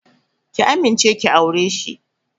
Ki amince ki aure shi!